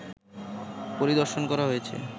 পরিদর্শন করা হয়েছে